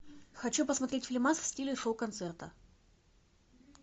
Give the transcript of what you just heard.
хочу посмотреть фильмас в стиле шоу концерта